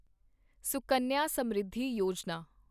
Sukanya Samriddhi Yojana